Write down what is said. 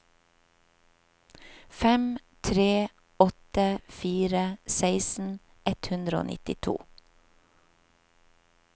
fem tre åtte fire seksten ett hundre og nittito